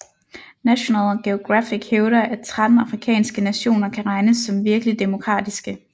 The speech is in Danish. National Geographic hævder at 13 afrikanske nationer kan regnes som virkelig demokratiske